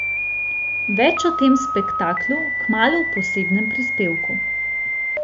Več o tem spektaklu kmalu v posebnem prispevku.